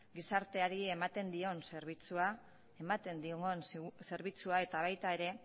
gizarteari ematen digun zerbitzua eta baita ere